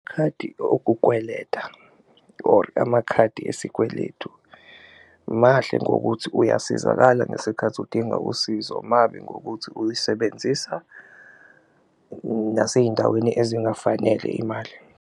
Khadi okukweleta or amakhadi esikweletu mahle ngokuthi uyasizakala ngesikhathi udinga usizo, mabi ngokuthi uyisebenzisa nasey'ndaweni ezingafanele imali.